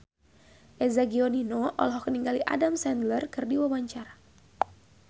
Eza Gionino olohok ningali Adam Sandler keur diwawancara